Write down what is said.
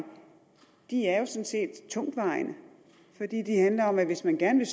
er sådan set tungtvejende fordi de handler om at hvis man gerne